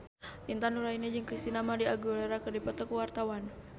Intan Nuraini jeung Christina María Aguilera keur dipoto ku wartawan